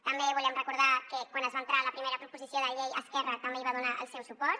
també volem recordar que quan es va entrar la primera proposició de llei esquerra també hi va donar el seu suport